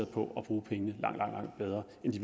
på at bruge pengene langt langt bedre end de